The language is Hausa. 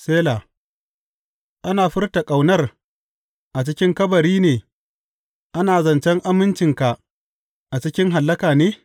Sela Ana furta ƙaunar a cikin kabari ne, ana zancen amincinka a cikin Hallaka ne?